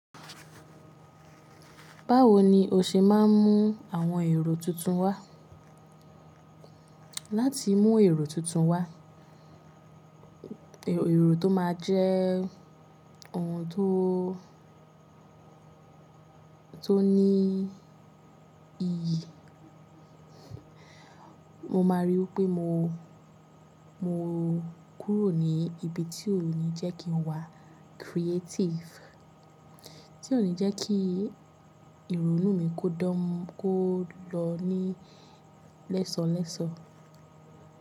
Báwo ni o ṣe máa ń mú àwọn èrò tuntun wá? Láti mú èrò tuntun wá, èrò tó máa jẹ́ oun tó, tó ní iyì, mo máa ríi pé mo, mo kúrò ní ibi tí ò ní jẹ́ kín wa creative. Tí ò ní jẹ́ kí ìrònú mi kó dán, kó lọ ní lẹ́sọ̀lẹ́sọ̀.